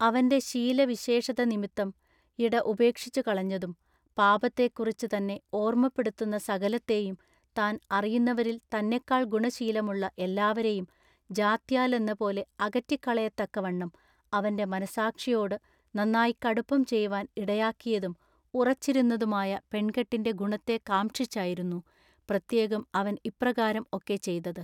അവൻ്റെ ശീലവിശേഷത നിമിത്തം യിട ഉപേക്ഷിച്ചുകളഞ്ഞതും, പാപത്തെക്കുറിച്ചു തന്നെ ഓർമ്മപ്പെടുത്തുന്ന സകലത്തെയും താൻ അറിയുന്നവരിൽ തന്നെക്കാൾ ഗുണശീലമുള്ള എല്ലാവരെയും ജാത്യാലെന്നപോലെ അകറ്റിക്കളയത്തക്കവണ്ണം അവൻ്റെ മനസ്സാക്ഷിയോടു നന്നാ കടുപ്പം ചെയ്‌വാൻ ഇടയാക്കിയതും ഉറച്ചിരുന്നതുമായ പെൺകെട്ടിൻ്റെ ഗുണത്തെ കാംക്ഷിച്ചായിരുന്നു പ്രത്യേകം അവൻ ഇപ്രകാരം ഒക്കെ ചെയ്തത്.